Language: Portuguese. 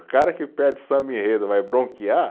O cara que pede samba-enredo vai bronquear?